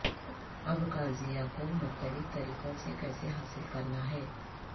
ابقازیہ کو مختلف طریقوں سے کیسے حاصل کرنا ہے